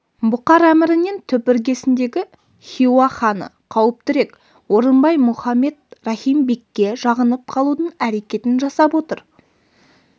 бұқар әмірінен түп іргесіндегі хиуа ханы қауіптірек орынбай мұхаммед рахим бекке жағынып қалудың әрекетін жасап отыр